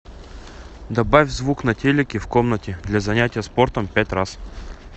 добавь звук на телике в комнате для занятия спортом пять раз